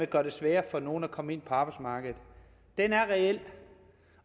gør det sværere for nogle at komme ind på arbejdsmarkedet er reel